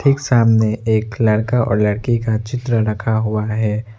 ठीक सामने एक लड़का और लड़की का चित्र रखा हुआ है।